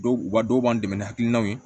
Dɔw b'a dɔw b'an dɛmɛ ni hakilinaw ye